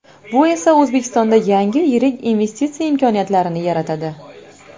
Bu esa O‘zbekistonda yangi yirik investitsiya imkoniyatlarini yaratadi.